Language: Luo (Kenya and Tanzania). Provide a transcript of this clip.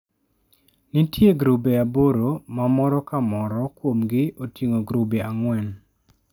Nitie grube aboro ma moro ka moro kuomgi oting'o grube ang'wen.